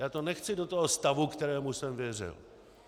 Já to nechci do toho stavu, kterému jsem věřil.